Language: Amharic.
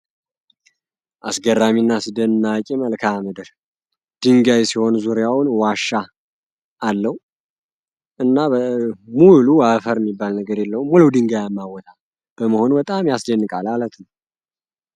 አስገራሚና አስደናቂ መልክዓ ምድር ድንጋይ ሲሆን ዙሪያውን ዋሻ አለው አፈር ሚባል ነገር የለውም ድንጋ ይ በመሆኑ በጣም ያስደንቃል አለት ነው